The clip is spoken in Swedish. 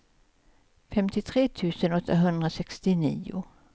femtiotre tusen åttahundrasextionio